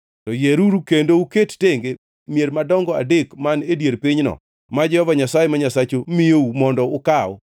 to yieruru kendo uket tenge mier madongo adek man e dier pinyno ma Jehova Nyasaye ma Nyasachu miyou mondo ukaw.